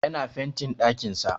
Yana fentin ɗakin sa